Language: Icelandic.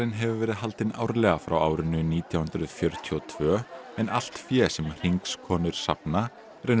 hefur verið haldinn árlega frá árinu nítján hundruð fjörutíu og tvö en allt fé sem Hringskonur safna rennur